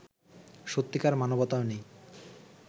সত্যিকার মানবতাও নেই